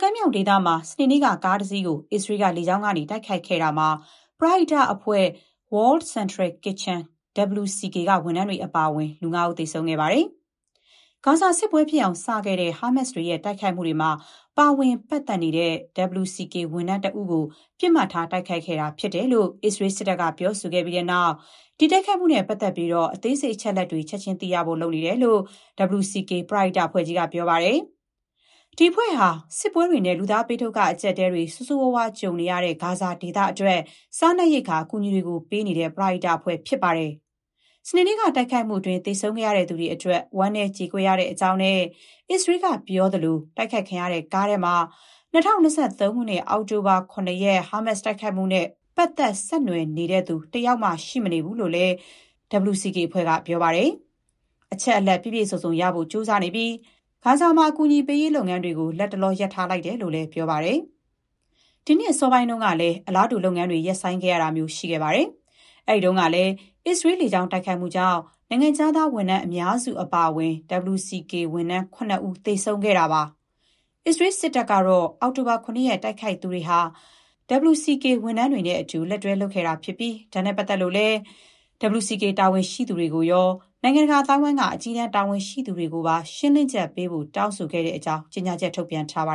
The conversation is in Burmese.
ကမ်းမြောင်ဒေသမှာ စနေနေ့က ကားတစီးကို အစ္စရေးက လေကြောင်းကနေ တိုက်ခိုက်ခဲ့တာမှာ ပရဟိတအဖွဲ့ World Central Kitchen (WCK) က ဝန်ထမ်းတွေ အပါအဝင် လူ ၅ ဦး သေဆုံးခဲ့ပါတယ်။ ဂါဇာစစ်ပွဲ ဖြစ်အောင် စခဲ့တဲ့ ဟာမတ်စ်တွေရဲ့ တိုက်ခိုက်မှုတွေမှာ ပါဝင်ပတ်သက်နေတဲ့ WCK ဝန်ထမ်းတဦးကို ပစ်မှတ်ထား တိုက်ခိုက်ခဲ့တာလို့ အစ္စရေး စစ်တပ်က ပြောဆိုခဲ့ပြီးတဲ့နောက် ဒီတိုက်ခိုက်မှုနဲ့ ပတ်သက်လို့ အသေးစိတ် အချက်အလက်တွေ ချက်ချင်း သိရဖို့ လုပ်နေတယ်လို့ WCK ပရဟိတ အဖွဲ့က ပြောပါတယ်။ ဒီအဖွဲ့ဟာ စစ်ပွဲတွေနဲ့ လူသားဘေးဒုက္ခ အကျပ်အတည်းတွေ ဆိုးဆိုးရွားရွား ကြုံနေရတဲ့ ဂါဇာဒေသအတွက် စားနပ်ရိက္ခာ အကူအညီတွေ ပေးနေတဲ့ ပရဟိတအဖွဲ့ ဖြစ်ပါတယ်။ စနေနေ့ တိုက်ခိုက်မှုအတွင်း သေဆုံးခဲ့ရသူတွေ အတွက် ဝမ်းနည်းကြေကွဲရကြောင်းနဲ့ အစ္စရေးက ပြောသလို တိုက်ခိုက်ခံရတဲ့ ကားထဲမှာ ၂၀၂၃ ခုနှစ် အောက်တိုဘာ ၇ ရက် ဟာမတ်စ် တိုက်ခိုက်မှုနဲ့ ပတ်သက် ဆက်နွယ်နေသူ တယောက်မှ ရှိမနေဘူးလို့လည်း WCK အဖွဲ့က ပြောပါတယ်။ အချက်အလက် ပြည့်ပြည့်စုံစုံရဖို့ ကြိုးစားနေပြီး ဂါဇာမှာ အကူအညီပေးရေး လုပ်ငန်းတွေ လတ်တလော ရပ်ထားလိုက်တယ်လို့လည်း ပြောပါတယ်။ ဒီနှစ် အစောပိုင်း တုန်းကလည်း အလားတူ လုပ်ငန်းတွေ ရပ်ဆိုင်းခဲ့တာမျိုး ရှိခဲ့ပါသေးတယ်။ အဲ့ဒီတုန်းကလည်း အစ္စရေးလေကြောင်း တိုက်ခိုက်မှုကြောင့် နိုင်ငံခြားသား ဝန်ထမ်း အများစု အပါအဝင် WCK ဝန်ထမ်း ၇ ဦး သေဆုံးခဲ့ရတာပါ။ အစ္စရေးစစ်တပ် ကတော့ အောက်တိုဘာ ၇ ရက် တိုက်ခိုက်သူတွေဟာ WCK ဝန်ထမ်းတွေနဲ့အတူ လက်တွဲ လုပ်ခဲ့တာဖြစ်ပြီး ဒါနဲ့ပတ်သက်လို့လည်း WCK တာဝန်ရှိသူတွေရော၊ နိုင်ငံတကာ အသိုင်းအဝိုင်းက အကြီးတန်း တာဝန်ရှိသူတွေကိုပါ ရှင်းလင်းချက်ပေးဖို့ တောင်းဆိုခဲ့တဲ့အကြောင်း ကြေညာချက် ထုတ်ပြန်ထားပါ